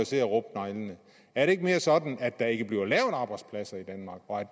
se at rubbe neglene er det ikke mere sådan at der ikke bliver lavet arbejdspladser i danmark og at